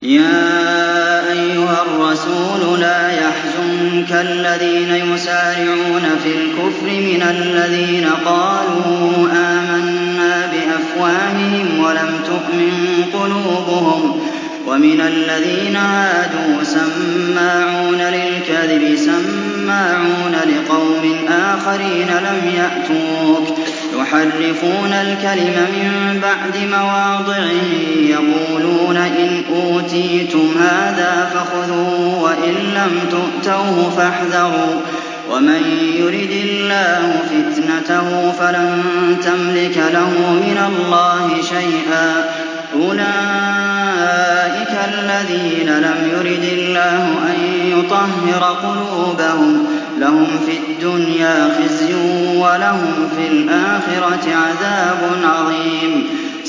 ۞ يَا أَيُّهَا الرَّسُولُ لَا يَحْزُنكَ الَّذِينَ يُسَارِعُونَ فِي الْكُفْرِ مِنَ الَّذِينَ قَالُوا آمَنَّا بِأَفْوَاهِهِمْ وَلَمْ تُؤْمِن قُلُوبُهُمْ ۛ وَمِنَ الَّذِينَ هَادُوا ۛ سَمَّاعُونَ لِلْكَذِبِ سَمَّاعُونَ لِقَوْمٍ آخَرِينَ لَمْ يَأْتُوكَ ۖ يُحَرِّفُونَ الْكَلِمَ مِن بَعْدِ مَوَاضِعِهِ ۖ يَقُولُونَ إِنْ أُوتِيتُمْ هَٰذَا فَخُذُوهُ وَإِن لَّمْ تُؤْتَوْهُ فَاحْذَرُوا ۚ وَمَن يُرِدِ اللَّهُ فِتْنَتَهُ فَلَن تَمْلِكَ لَهُ مِنَ اللَّهِ شَيْئًا ۚ أُولَٰئِكَ الَّذِينَ لَمْ يُرِدِ اللَّهُ أَن يُطَهِّرَ قُلُوبَهُمْ ۚ لَهُمْ فِي الدُّنْيَا خِزْيٌ ۖ وَلَهُمْ فِي الْآخِرَةِ عَذَابٌ عَظِيمٌ